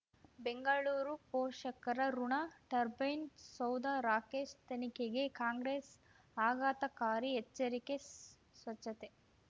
ಬೆಂಗಳೂರು ಪೋಷಕರಋಣ ಟರ್ಬೈನ್ ಸೌಧ ರಾಕೇಶ್ ತನಿಖೆಗೆ ಕಾಂಗ್ರೆಸ್ ಆಘಾತಕಾರಿ ಎಚ್ಚರಿಕೆ ಸ್ವಚ್ಛತೆ